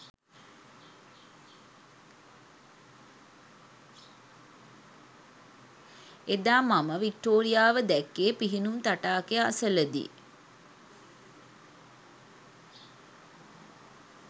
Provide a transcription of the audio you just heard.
එදා මම වික්ටෝරියාව දැක්කේ පිහිනුම් තටාකය අසලදී